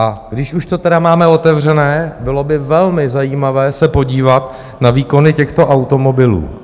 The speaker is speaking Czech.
A když už to tedy máme otevřené, bylo by velmi zajímavé se podívat na výkony těchto automobilů.